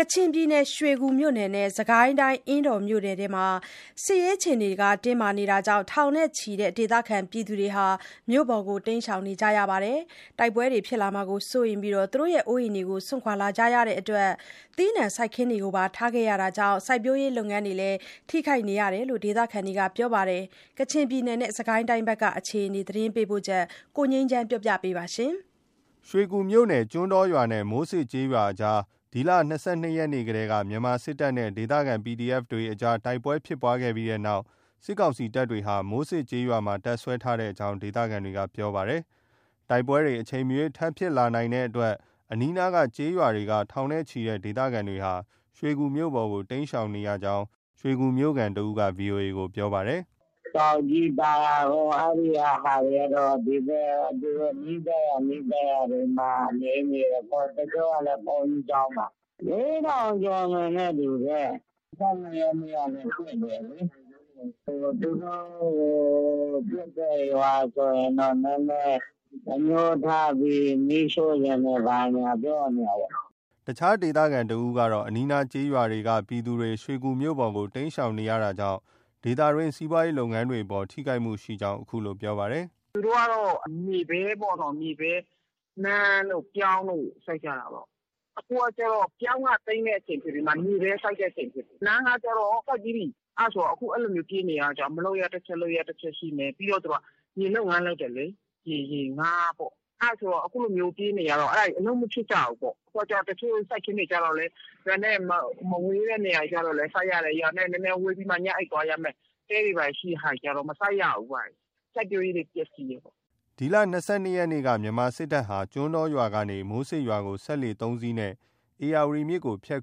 ကချင်ပြည်နယ် ရွှေကူမြို့နယ်နဲ့ စစ်ကိုင်းတိုင်း အင်းတော်မြို့နယ်အတွင်းမှာ စစ်ရေးအခြေအနေ တင်းမာနေတာကြောင့် ထောင်နဲ့ချီတဲ့ ဒေသခံပြည်သူတွေဟာ မြို့ပေါ်ကို တိမ်းရှောင်နေကြပါတယ်။ တိုက်ပွဲတွေဖြစ်လာမှာကိုစိုးရိမ်ပြီး အိုးအိမ်တွေကို စွန့်ခွာနေကြတဲ့အတွက် သီးနှံစိုက်ခင်းတွေကိုပါထားခဲ့ရတာကြောင့် စိုက်ပျိုးရေးလုပ်ငန်းတွေလည်းထိခိုက်နေကြောင်း ဒေသခံတွေက ပြောပါတယ်။ ကချင်ပြည်နယ်နဲ့ စစ်ကိုင်းတိုင်းက အခြေအနေသတင်းပေးပို့ချက်ကို ကိုငြိမ်းချမ်းက တင်ပြပေးထားပါတယ်။ ရွှေကူမြို့နယ် ကျွန်းတော်ရွာနဲ့ မိုးစစ်ကျေးရွာအကြားမှာ ဒီလ ၂၂ ရက်နေ့ကတည်းက မြန်မာစစ်တပ်နဲ့ ဒေသခံ PDF တပ်တွေအကြား တိုက်ပွဲဖြစ်ပွားခဲ့ပြီး အဲဒီနောက် စစ်ကောင်စီတပ်တွေက မိုးစစ်ကျေးရွာမှာ တပ်စွဲထားတဲ့အကြောင်း ဒေသခံတွေက ပြောပါတယ်။ တိုက်ပွဲတွေ အချိန်မရွေးထပ်ဖြစ်လာနိုင်တဲ့အတွက် အနီးအနားကျေးရွာတွေက ထောင်နဲ့ ချီတဲ့ ဒေသခံတွေဟာ ရွှေကူမြို့ပေါ်ကို တိမ်းရှောင်နေကြောင်း ရွှေကူမြို့ခံတဦးက VOA ကို ပြောပါတယ်။ “ အခုကတော့ သင်္ဘောအင်း၊ ပေါက်ကုန်း၊ မိုးစစ်စသည်ဖြင့် ဟိုဘက် ကျောက်တလုံး၊ ကျောက်ကြီး၊ သာယာကုန်း အဲဒီကဟာတွေကတော့ ဒီဘက် သူတို့ နီးစပ်ရာ၊ နီးစပ်ရာတွေမှာ နေနေတယ်ပေါ့။ တချို့ကလည်း ဘုန်းကြီးကျောင်းမှာ။ လေးထောင်ကျော်မယ်နဲ့တူတယ်။ ၂၂ ရက်နေ့ကနေ ဖွင့်တယ်လေ။ သူတို့ကို ပစ်တဲ့ရွာဆိုရင် နည်းနည်းအငြိုးထားပြီး မီးရှို့ချင်တယ် ဘာညာ ပြောနေတာပေါ့။ ” အခြား ဒေသခံတဦးက အနီးအနားကျေးရွာက ပြည်သူတွေ ရွှေကူမြို့ပေါ်ကို တိမ်းရှောင်နေရတာကြောင့် ဒေသတွင်း စီးပွားရေးလုပ်ငန်းအပေါ် ထိခိုက်မှုရှိကြောင်း အခုလို ပြောပါတယ်။ “ သူတို့ကတော့ မြေပဲ၊ နှမ်းတို့၊ ပြောင်းတို့ စိုက်ကြတာပေါ့။ အခုကျတော့ ပြောင်း သိမ်းတဲ့အချိန်ဖြစ်ပြီး မြေပဲစိုက်တဲ့အချိန်ဖြစ်တယ်။ နှမ်းကကျတော့ စိုက်ပြီးပြီ။ အဲဒါကျတော့ အခုလိုမျိုး ပြေးနေရတော့ မလုပ်ရတချက်၊ လုပ်ရတချက်ရှိမယ်။ ပြီးတော့ သူတို့က ရေလုပ်ငန်းလုပ်တယ်လေ။ ငါးပေါ့။ အဲဒါဆိုတော့ အခုလိုမျိုးပြေးနေရတော့ အဲဒါတွေ အလုပ်မဖြစ်ကြဘူးပေါ့။ ရွာနဲ့မဝေးတဲ့နေရာတွေကျတော့လည်း စိုက်ရတယ်။ ရွာနဲ့ နည်းနည်းဝေးပြီးမှ ညအိပ်သွားရမယ့် တဲတွေဘာတွေ ရှိတဲ့ဟာတွေကျ မစိုက်ရဘူးပ။ စိုက်ပျိုးရေးတွေ ပျက်စီးတယ်ပေါ့။” ဒီလ ၂၂ ရက်နေ့က မြန်မာစစ်တပ်ဟာ ကျွန်းတော်ရွာကနေ မိုးစစ်ရွာကို စက်လှေ ၃ စီးနဲ့ ဧရာဝတီမြစ်ကို ဖြတ်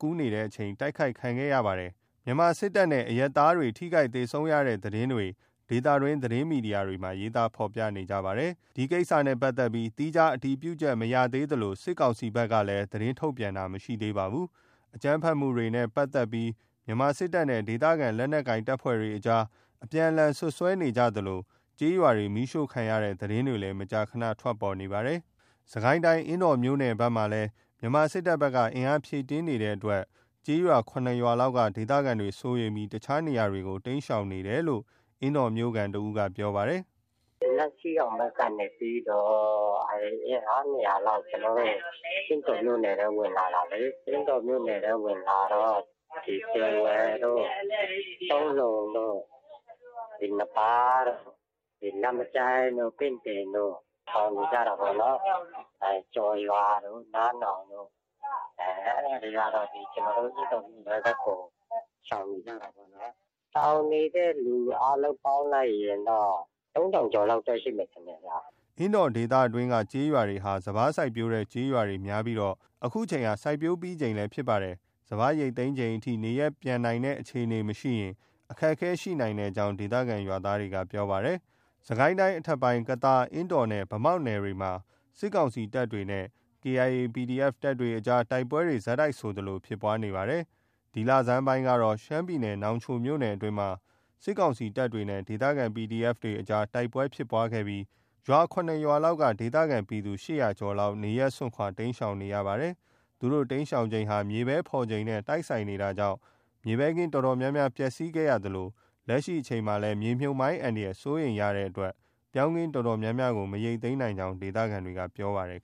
ကူးနေတဲ့အချိန် တိုက်ခိုက်ခံရပါတယ်။ မြန်မာစစ်တပ်ဘက် ကနဲ့ အရပ်သားတွေ ထိခိုက်သေဆုံးတဲ့သတင်းတွေ ဒေသတွင်းသတင်းမီဒီယာတွေမှာ ရေးသားဖေါ်ပြနေကြပါတယ်။ သီးခြားအတည်ပြုချက်မရေးသေးသလို စစ်ကောင်စီဘက်ကလည်း သတင်းထုတ်ပြန်တာမရှိသေးပါဘူး။ အကြမ်းဖက်မှုတွေနဲ့ပတ်သက်ပြီး မြန်မာစစ်တပ်နဲ့ ဒေသခံလက်နက်ကိုင်အဖွဲ့တွေကြား အပြန်အလှန် စွပ်စွဲနေသလို ကျေးရွာတွေ မီးရှို့ခံရတဲ့သတင်းတွေလည်း မကြာခဏ ထွက်ပေါ်နေပါတယ်။ စစ်ကိုင်းတိုင်း အင်းတော်မြို့နယ်ဘက်မှာလည်း မြန်မာစစ်တပ်ဘက်က အင်အားဖြည့်တင်းနေတဲ့အတွက် ကျေးရွာ ၇ ရွာလောက်က ဒေသခံတွေစိုးရိမ်ပြီး အခြားနေရာတွေကို တိမ်းရှောင်နေတယ်လို့လည်း အင်းတော်မြို့ခံတစ်ဦးက ပြောပါတယ်။ “ နန့်စီးအောင်ဘက်ကနေ အင်အား ၂၀၀လောက် ကျနော်တို့ အင်းတော်မြို့နယ်ထဲ ဝင်လာတာပဲလေ။ အင်းတော်မြို့နယ်ထဲဝင်လာတော့ ဒီ ပင်ဝယ်တို့၊ တုံးလုံတို့၊ နဘားတို့၊ နားမကြိုင်းတို့၊ ပင့်တင်တို့ ရှောင်နေကြတာပေါ့နော်။ ကျော်ရွာတို့၊ နားနောင်တို့ အဲဒါတွေကတော့ ကျနော်တို့ အင်းတော်မြို့ထဲဘက်ကို ရှောင်နေကြတာပေါ့ဗျာ။ ရှောင်နေတဲ့သူ အားလုံးပေါင်းလိုက်ရင် သုံးထောင်ကျော်လောက် ရှိမယ်ထင်တယ်ဗျ။” အင်းတော်ဒေသအတွင်းက ကျေးရွာတွေဟာ စပါးစိုက်ပျိုးတဲ့ ကျေးရွာတွေများပြီး အခုအချိန်ဟာ စိုက်ပျိုးပြီးချိန် ဖြစ်ပါတယ်။ စပါးရိတ်သိမ်းချိန်အထိ နေရပ်ပြန်နိုင်တဲ့အခြေအနေမရှိရင် အခက်အခဲရှိနိုင်တဲ့အကြောင်း ဒေသခံရွာသားက ပြောပါတယ်။ စစ်ကိုင်းတိုင်း အထက်ပိုင်း ကသာ၊ အင်းတော်နဲ့ ဗန်းမောက်နယ်တွေမှာ စစ်ကောင်စီတပ်နဲ့ KIA၊ PDF တပ်တွေအကြားမှာ တိုက်ပွဲတွေ ဆက်တိုက်ဆိုသလို ဖြစ်ပွားနေပါတယ်။ ဒီလဆန်းပိုင်းကတော့ ရှမ်းပြည်နယ် နောင်ချိုမြို့နယ်အတွင်းမှာ စစ်ကောင်စီတပ်နဲ့ ဒေသခံ PDF အကြား တိုက်ပွဲဖြစ်ခဲ့ပြီး ၇ ရွာ လောက်က ဒေသခံပြည်သူ ၈၀၀ ကျော် လောက် နေရပ်စွန့်ခွာ တိမ်းရှောင်နေရပါတယ်။ သူတို့ တိမ်းရှောင်ချိန်ဟာ မြေပဲဖော် ချိန်နဲ့ တိုက်ဆိုင်နေတာကြောင့် မြေပဲခင်းအတော်များများ ပျက်စီးခဲ့ရသလို လက်ရှိ အချိန်မှာလည်း မြေမြှုပ်မိုင်းအန္တရာယ်စိုးရိမ်တဲ့အတွက် ပြောင်းခင်းအတော်များများကို မရိတ်သိမ်းနိုင်ကြောင်း ဒေသခံတွေက ပြောပါတယ်